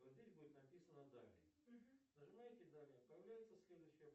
вот здесь будет написано далее нажимаете далее появляется следующая